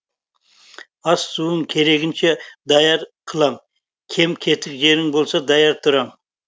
ас суың керегіңше даяр қылам кем кетік жерің болса даяр тұрам